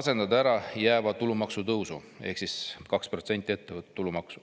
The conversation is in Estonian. asendada ärajääva tulumaksutõusu ehk 2%‑lise ettevõtte maksu.